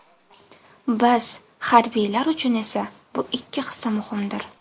Biz, harbiylar uchun esa bu ikki hissa muhimdir.